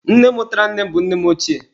Nne mụtara nne m bụ nne m ochie